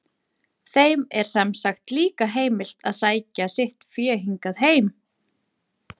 Þeim er sem sagt líka heimilt að sækja sitt fé hingað heim.